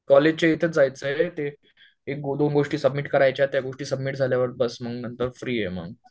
कॉलेजच्या इथे च जायचे रे ते एक दोन गोष्टी सबमिट करायचे ते सबमिट झाल्यावर बस मग नंतर फ्री आहे मग